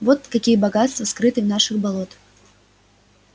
вот какие богатства скрыты в наших болотах